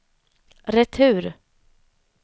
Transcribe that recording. retur